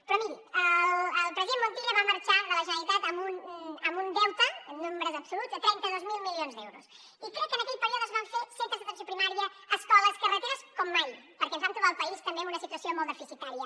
però miri el president montilla va marxar de la generalitat amb un deute en nombres absoluts de trenta dos mil milions d’euros i crec que en aquell període es van fer centres d’atenció primària escoles carreteres com mai perquè ens vam trobar el país també amb una situació molt deficitària